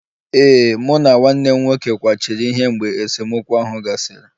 Ee, mụ na nwanne m nwoke kwachiri ihe mgbe esemokwu ahụ gasịrị